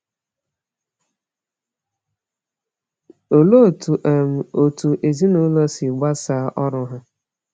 Olee otú um otu ezinụlọ si gbasaa ọrụ ha?